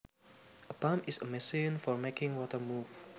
A pump is a machine for making water move